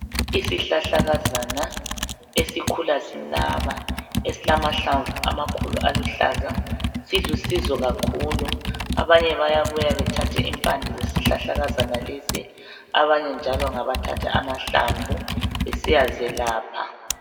Isihlahlakazana esikhula sinaba esilamahlamvu amakhulu aluhlaza silusizo kakhulu. Abanye bayabuya bethathe impande zesihlahlakazana lesi abanye njalo ngabathatha amahlamvu besiyazelapha.